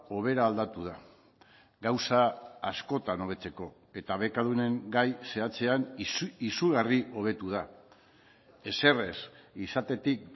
hobera aldatu da gauza askotan hobetzeko eta bekadunen gai zehatzean izugarri hobetu da ezer ez izatetik